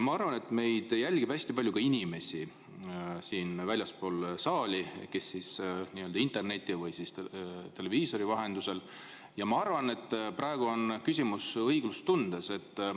Ma arvan, et meid jälgib hästi palju inimesi ka väljaspool saali kas interneti või televiisori vahendusel, ja arvan, et praegu on küsimus õiglustundes.